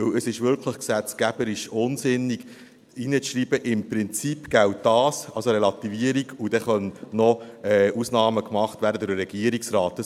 Denn es ist gesetzgeberisch wirklich unsinnig, hineinzuschreiben, «im Prinzip» gelte das als eine Relativierung und dann könne noch eine Ausnahme gemacht werden durch den Regierungsrat.